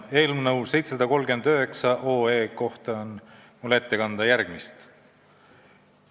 Eelnõu 739 kohta on mul ette kanda järgmist.